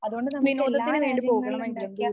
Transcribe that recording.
അതുകൊണ്ട് നമുക്ക് എല്ലാ രാജ്യങ്ങളിലും ഉണ്ടാക്കിയ